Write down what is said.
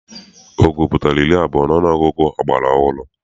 Ọgụ pụtara iri abụọ n'ọnụọgụgụ ọgbara ọhụrụ.